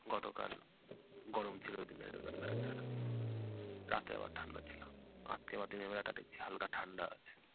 গতকাল গরম ছিল দিনের বেলাটা। রাতে আবার ঠান্ডা ছিল। আজকে আবার দিনের বেলাটা দেখছি হালকা ঠান্ডা আছে।